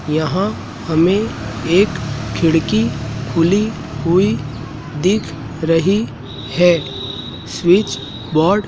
यहां हमें एक खिड़की खुली हुई दिख रही है स्विच बोर्ड --